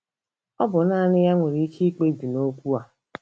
Ọ bụ naanị ya nwere ike ikpebi n'okwu a.